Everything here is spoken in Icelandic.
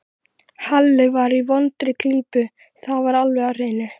Halli var í vondri klípu, það var alveg á hreinu.